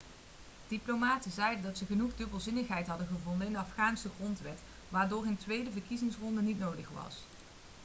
diplomaten zeiden dat ze genoeg dubbelzinnigheid hadden gevonden in de afghaanse grondwet waardoor een tweede verkiezingsronde niet nodig was